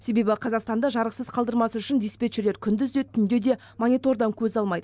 себебі қазақстанды жарықсыз қалдырмас үшін диспетчерлер күндіз де түнде де монитордан көз алмайды